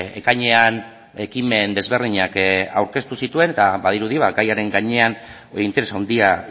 ekainean ekimen desberdinak aurkeztu zituen eta badirudi gaiaren gainean interes handia